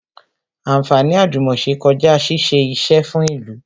Anfaani àjùmòse kọjá ṣíṣe isẹ fún ìlú